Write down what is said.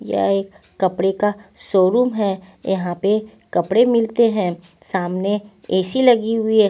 यह एक कपड़े का शोरूम है यहां पे कपड़े मिलते हैं सामने ए_सी लगी हुई है.